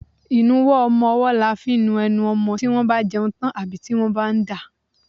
Ìnuwọ́ ọmọwọ́ là fi ń nu enu ọmọmọ́ tí wọ́n bá jẹun tán àbí tí wọ́n bá ń dà.